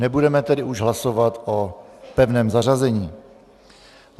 Nebudeme tedy už hlasovat o pevném zařazení.